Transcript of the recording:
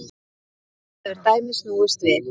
Nú hefur dæmið snúist við.